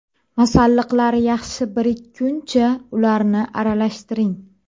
Masalliqlar yaxshi birikkuncha ularni aralashtiring.